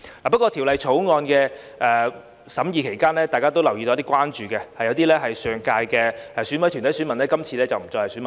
不過，在法案委員會審議期間，大家都留意到有一些關注，即有些上屆是選委團體選民，今次不再是選民。